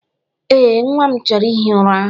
Ee, nnwa m chọrọ ihi ụra.